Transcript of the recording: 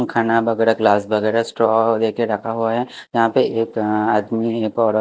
खाना वगैरह ग्लास वगैरह स्ट्रॉ देके रखा हुआ है यहाँ पे एक आदमी एक और--